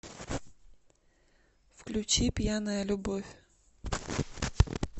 включи пьяная любовь